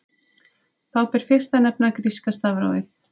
Þá ber fyrst að nefna gríska stafrófið.